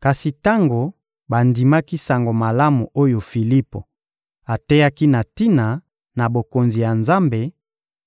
Kasi tango bandimaki Sango Malamu oyo Filipo ateyaki na tina na Bokonzi ya Nzambe